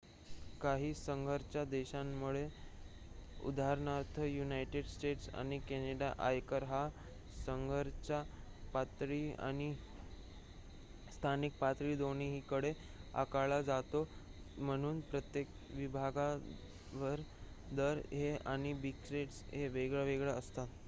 काही संघराज्य देशांमध्ये उदाहरणार्थ युनायटेड स्टेट्स आणि कॅनडा आयकर हा संघराज्य पातळीवर आणि स्थानिक पातळी दोन्हीकडे आकारला जातो म्हणून प्रत्येक विभागवार दर आणि ब्रॅकेट्स हे वेगवेगळे असतात